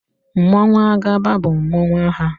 Mmanwụ Agaba bụ mmanụ agha.